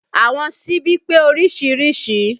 Àwọn síbi pé oríṣiríṣi